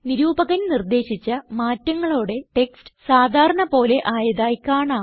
നിരൂപകൻ നിർദേശിച്ച മാറ്റങ്ങളോടെ ടെക്സ്റ്റ് സാധാരണ പോലെ ആയതായി കാണാം